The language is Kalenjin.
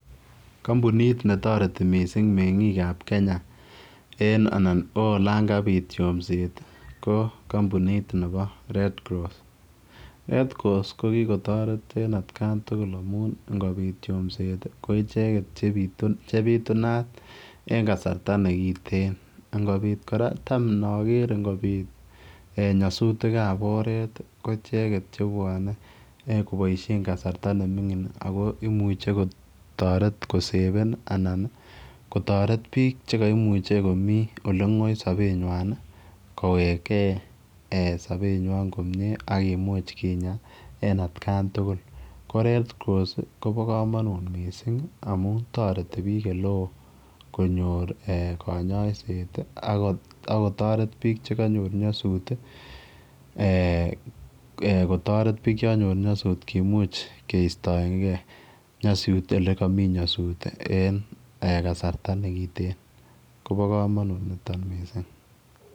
Kampunit netareti mising mengik ab Kenya en anan koyangabit kityo yomset ko kampunit Nebo red cross, red cross kokikotaret en atkan tugul amun ingobit yomset koicheken chebitunatin en kasarta nekiten ingobit koraa ,Tam naker ingobit nyasutik ab oret koicheken cheuwon kibaishen kasarta nemingin akomuche kotaret koseven anan kotaret bik chikaimuche Mie olengoi Sabet nywan kowek gei Sabet nywan komie AK imuch kinya en atkan tugul ko red cross Koba kamanut mising amun tareti bik oleon konyor en kanyaiset anan akotaret bik chikanyor naysut eeh kotaret bik chikanyor nyasut akokimuch kestaengei nyasut en yelegamii nyasut en kasarta nekiten Koba kamanut niton mising